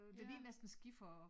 Det ligner næsten skifer og